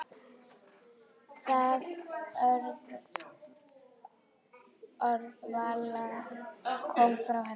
Það orðaval kom frá henni.